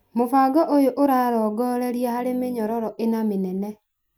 Mũbango ũyũ ũrarongoreria harĩ mĩnyororo ĩna mĩnene: